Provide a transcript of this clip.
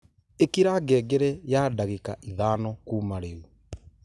ikira ngengere ya ndagĩka ithano kuuma rĩu